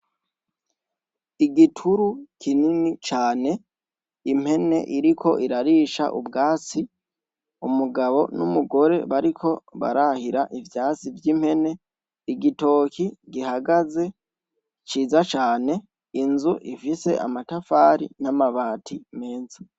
Igituru kinini cane, impene iriko irarisha ubwatsi, umugabo n'umugore bariko barahira ivyatsi vy'impene, igitoki gihagaze ciza cane, inzu ifise amatafari n'amabati meza.